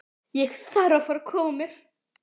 Ég þarf að fara að koma mér.